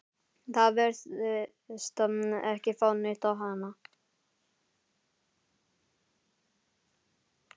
Það virtist ekki fá neitt á hana.